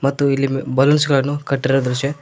ಮತ್ತು ಇಲ್ಲಿ ಬಲೂನ್ಸ ಗಳನ್ನು ಕಟ್ಟಿರುವ ದೃಶ್ಯ--